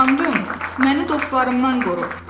Tanrım, məni dostlarımdan qoru.